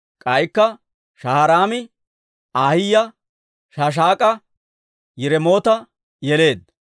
K'aykka Shaharaami Ahiyaa, Shaashak'a, Yiremoota yeleedda.